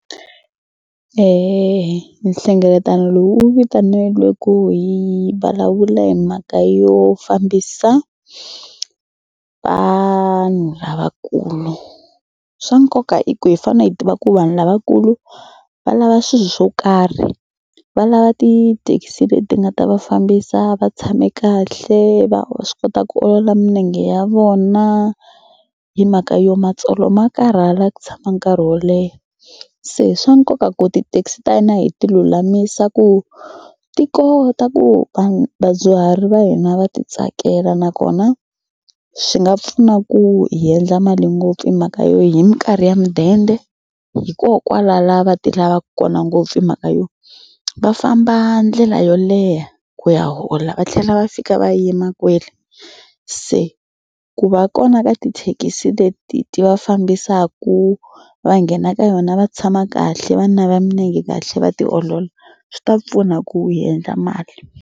nhlengeletano lowu wu vitaneliwe ku hi vulavula hi mhaka yo fambisa vanhu lavakulu. Swa nkoka i ku hi fanele hi va ku vanhu lavakulu va lava swilo swo karhi va lava ti-taxi leti nga ta va fambisa va tshame kahle va va swi kota ku olola milenge ya vona hi mhaka yo matsolo ma karhala ku tshama nkarhi wo leha. Se swa nkoka ku ti-taxi ta hina hi ti lulamisa ku ti kota ku va vadyuhari va hina va titsakela nakona swi nga pfuna ku hi endla mali ngopfu hi mhaka yo hi mikarhi ya mudende va ti lavaka kona ngopfu hi mhaka yo va famba ndlela yo leha ku ya hola va tlhela va fika va yima kwele se ku va kona ka tithekisi leti ti va fambisaka va nghena ka yona va tshama kahle va nava milenge kahle va tiolola swi ta pfuna ku endla mali.